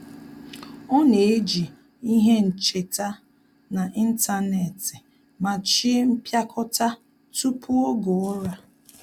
Ọ́ nà-ejì ihe ncheta n’ị́ntánétị̀ màchí mpịakọta tupu oge ụ́rà.